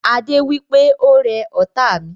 Adé wípé "Ó rẹ ọ́ta mi"